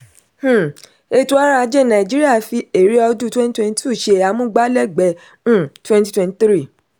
um ètò ọrọ̀ ajé nàìjíríà fi èrè ọdún twenty twenty-two ṣe amúgbálẹgbẹ um twenty twenty-three.